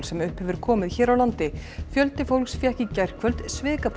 sem upp hefur komið hér á landi fjöldi fólks fékk í gærkvöld